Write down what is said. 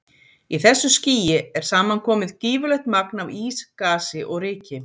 Í þessu skýi er saman komið gífurlegt magn af ís, gasi og ryki.